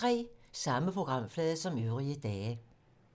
Samme programflade som øvrige dage